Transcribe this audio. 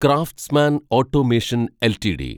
craftsman automation LTD